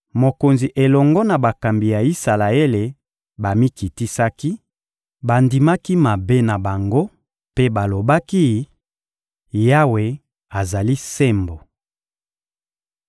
Mokonzi elongo na bakambi ya Isalaele bamikitisaki, bandimaki mabe na bango mpe balobaki: — Yawe azali sembo!